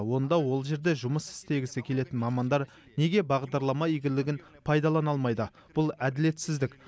онда ол жерде жұмыс істегісі келетін мамандар неге бағдарлама игілігін пайдалана алмайды бұл әділетсіздік